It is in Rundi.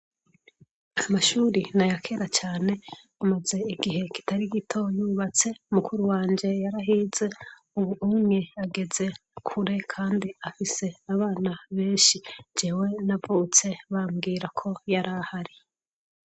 amashuri nayakera cyane amaze igihe kitari gito yubatse mukuru wanjye yarahize ubu umwe ageze kure kandi afise abana benshi jewe navutse bambwira ko yarahari